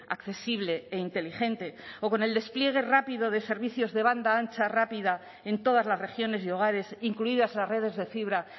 accesible e inteligente o con el despliegue rápido de servicios de banda ancha rápida en todas las regiones y hogares incluidas las redes de fibra